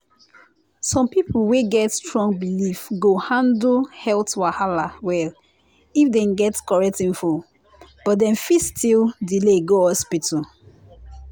some people wey get strong belief go handle health wahala well if dem get correct info but dem fit still delay go hospital.